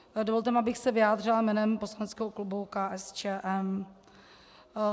Dovolte mi, abych se vyjádřila jménem poslaneckého klubu KSČM.